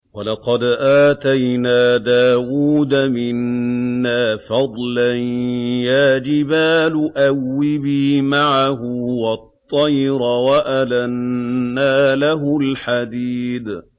۞ وَلَقَدْ آتَيْنَا دَاوُودَ مِنَّا فَضْلًا ۖ يَا جِبَالُ أَوِّبِي مَعَهُ وَالطَّيْرَ ۖ وَأَلَنَّا لَهُ الْحَدِيدَ